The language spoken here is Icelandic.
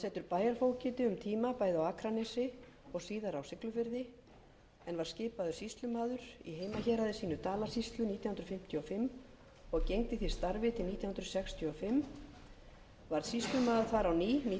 bæjarfógeti um tíma bæði á akranesi og síðar á siglufirði en var skipaður sýslumaður í heimahéraði sínu dalasýslu nítján hundruð fimmtíu og fimm og gegndi því starfi til nítján hundruð sextíu og fimm varð sýslumaður þar á ný nítján hundruð